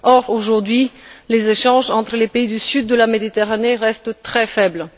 Or aujourd'hui, les échanges entre les pays du sud de la Méditerranée restent très faibles.